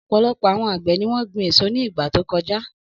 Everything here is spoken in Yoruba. Ọ̀pọ̀lọpọ̀ àwọn àgbẹ̀ ni wọ́n gbin èso ní ìgbà tó kọjá.